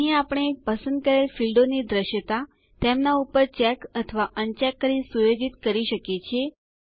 અહીં આપણે પસંદ કરેલ ફીલ્ડોની દૃશ્યતા તેમના ઉપર ચેક અથવા અનચેક કરી સુયોજિત કરી શકીએ છીએ